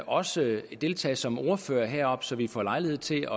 også deltage som ordfører heroppe så vi får lejlighed til